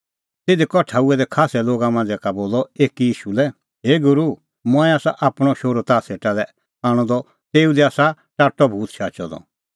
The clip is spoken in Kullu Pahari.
तिधी कठा हुऐ दै खास्सै लोगा मांझ़ा का बोलअ एकी ईशू लै हे गूरू मंऐं आसा आपणअ शोहरू ताह सेटा लै आणअ द तेऊ दी आसा टाट्टअ भूत शाचअ द